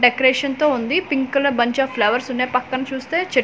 decoration తో ఉంది pink colour bunch of flowers ఉన్నాయ్ పక్కన చూస్తే చెట్--